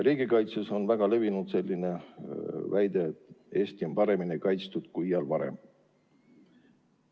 Riigikaitses on väga levinud väide, et Eesti on paremini kaitstud kui iial varem.